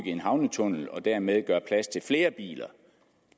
en havnetunnel og dermed gøre plads til flere biler